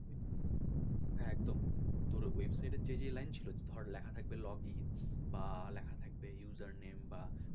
হ্যাঁ একদম তোর ওই website এর যে line ছিল ধর লেখা থাকবে log in বা লেখা থাকবে user name বা,